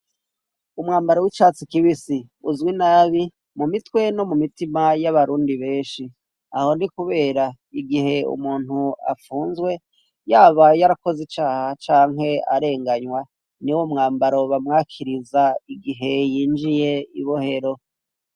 Umwambaro wicatsi kibisi uzwi nabi mu mitwe no mu mitima yabarundi benshi, aho ni kubera igihe umuntu apfunzwe yaba yarakoze icaha canke arenganywa niwo mwambaro bamwakiriza igihe yinjiye ibohero.